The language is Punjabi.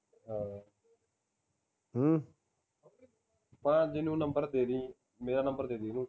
ਭਾਣਜੇ ਨੂੰ number ਦੇਂਦੀ ਮੇਰਾ number ਦੇਂਦੀ ਓਹਨੂੰ